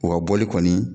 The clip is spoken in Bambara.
U ka bɔli kɔni